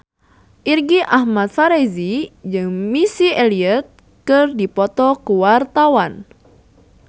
Irgi Ahmad Fahrezi jeung Missy Elliott keur dipoto ku wartawan